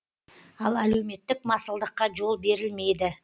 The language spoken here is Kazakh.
ал әлеуметтік масылдыққа жол берілмейді